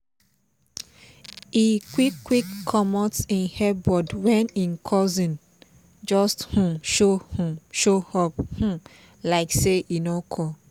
e quick quick comot him earbud when him cousin just um show um show up um like say e no call